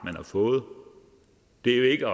man har fået det er jo ikke